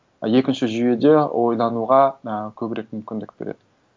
екінші жүйеде ойлануға ы көбірек мүмкіндік береді